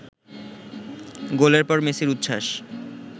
গোলের পর মেসির উচ্ছ্বাস